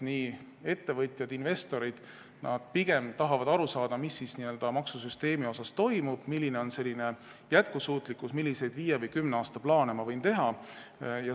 Ettevõtjad ja investorid tahavad pigem aru saada, mis maksusüsteemis toimub, milline on selle jätkusuutlikkus, milliseid viie või kümne aasta plaane nad võivad teha.